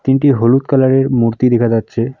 হলুদ কালারের মূর্তি দেখা যাচ্ছে।